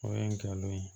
O ye ngalon ye